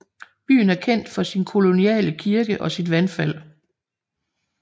Byen er kendt for sin koloniale kirke og sit vandfald